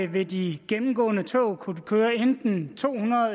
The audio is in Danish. vil de gennemgående tog kunne køre enten to hundrede